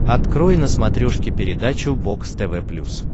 открой на смотрешке передачу бокс тв плюс